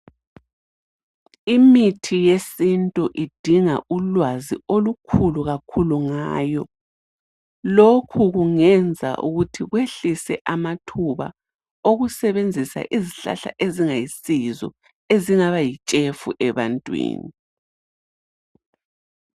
Imithi yesintu idinga ulwazi olukhulu kakhulu ngayo ,lokhu kungenza ukuthi kwehlise amathuba okusebenzisa izihlahla ezingayisizo ezingaba yitshefu ebantwini.